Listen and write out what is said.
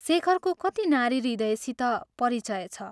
शेखरको कति नारीहृदयसित परिचय छ।